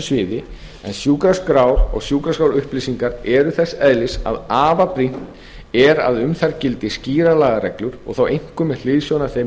sviði en sjúkraskrár og sjúkraskrárupplýsingar eru þess eðlis að afar brýnt er að um þær gildi skýrar lagareglur og þá einkum með hliðsjón af þeim